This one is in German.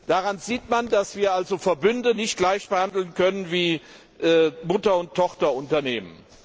Daran sieht man, dass wir Verbünde nicht gleich behandeln können wie Mutter und Tochterunternehmen.